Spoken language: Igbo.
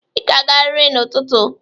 Ị ga-agarịrị n'ụtụtụ!